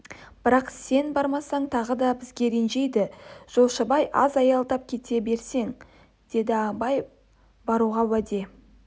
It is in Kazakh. бірақ сен бармасаң тағы да бізге ренжиді жолшыбай аз аялдап кете берерсің деді абай баруға уәде